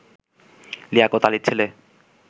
লিয়াকত আলির ছেলে